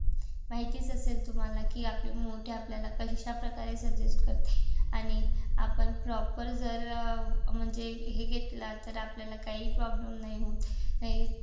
माहितीच असेल तुम्हाला कि आपले मोठे आपल्याला कशाप्रकारे suggest करतात आणि आपण proper जर अं म्हणजे हे घेतला तर आपल्याला काही problem नाही होत.